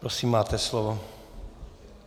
Prosím, máte slovo.